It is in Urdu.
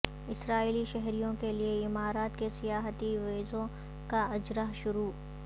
اسرائیلی شہریوں کیلئے امارات کے سیاحتی ویزوں کا اجراء شروع